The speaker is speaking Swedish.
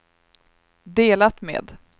delat med